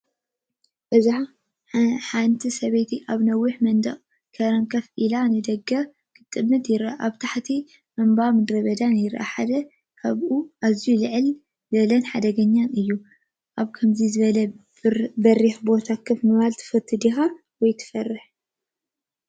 እዚ ሓደ ሰብኣይ ኣብ ነዊሕ መንደቕ ከረን ኮፍ ኢሉ ንደገ ክጥምት ይርአ። ኣብ ታሕቲ እምባን ምድረበዳን ይረአ፣ ሓደ ካብኡ ኣዝዩ ልዑልን ሓደገኛን እዩ። ኣብ ከምዚ ዝበለ በሪኽ ቦታ ኮፍ ምባል ትፈቱ ዲኻ? ወይስ ትፈርሕ?